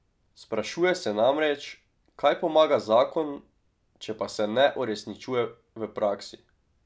Sprašuje se namreč, kaj pomaga zakon, če pa se ne uresničuje v praksi.